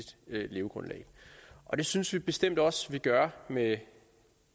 levegrundlag og det synes vi bestemt også vi gør med